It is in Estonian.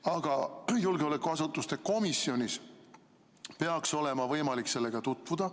Aga julgeolekuasutuste komisjonil peaks olema võimalik sellega tutvuda.